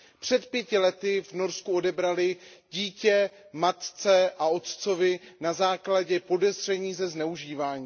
Před pěti lety v Norsku odebrali dítě matce a otci na základě podezření ze zneužívání.